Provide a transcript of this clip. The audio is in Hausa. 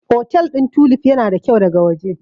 Otel ɗin Tulif yana da kyau daga waje.